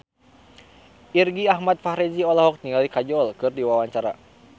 Irgi Ahmad Fahrezi olohok ningali Kajol keur diwawancara